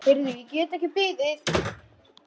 Heyrðu, ég get ekki beðið.